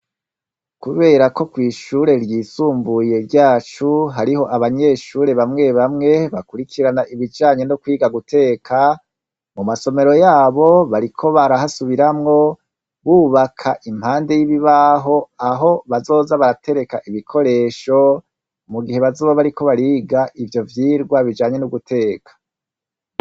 Kubera ko kw'ishure ryisumbuye ryacu hariho abanyeshure bamwe bamwe bakurikirana ibijanye no kwiga guteka, mu masomero yabo bariko barahasubiramwo bubaka impande y'ibibaho aho bazoza baratereka ibikoresho mu gihe bazoba bariko bariga ivyo vyigwa bijanye n'uguteka.